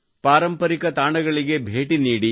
ಪಾರಂಪರಿಕ ತಾಣಗಳಿಗೆ ಭೇಟಿ ನೀಡಿ